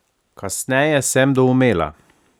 Kasneje sem doumela.